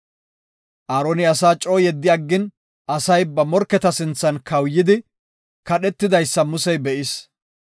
Aaroni asaa coo yeddi aggin, asay ba morketa sinthan kawuyidi, kadhetidaysa Musey be7is.